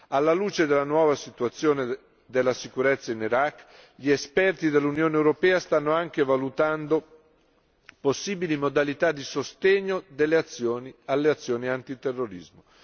Alla luce della nuova situazione della sicurezza in Iraq, gli esperti dell'Unione europea stanno anche valutando possibili modalità di sostegno alle azioni antiterrorismo.